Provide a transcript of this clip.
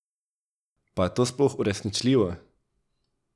Pa je to sploh uresničljivo?